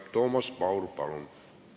Toomas Paur, palun!